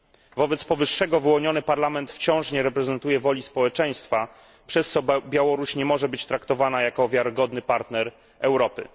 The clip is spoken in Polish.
Wobec powyższego wyłoniony parlament wciąż nie reprezentuje woli społeczeństwa, przez co Białoruś nie może być traktowana jako wiarygodny partner Europy.